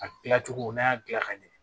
A gilan cogo n'a y'a dilan ka ɲɛ